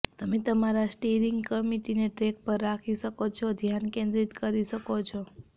તમે તમારા સ્ટિયરિંગ કમિટીને ટ્રેક પર રાખી શકો છો અને ધ્યાન કેન્દ્રિત કરી શકો છો